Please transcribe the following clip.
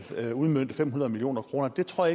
udmønte fem hundrede million kroner det tror